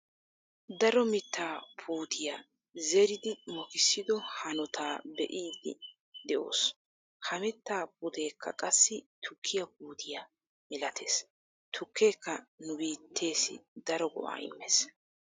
Daro mittaa puutiyaa zeridi mokisido hanootaa be'iidi de'oos. ha mittaa puteekka qassi tukkiyaa puutiyaa milatees. tukkeeka nu biitteessi daro go"aa immees.